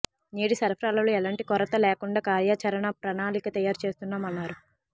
నీటి సరఫరాలో ఎలాంటి కొరత లేకుండా కార్యాచరణ ప్రణాళిక తయారు చేస్తున్నామన్నారు